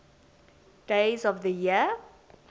days of the year